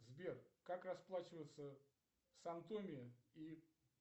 сбер как расплачиваться в сан томе и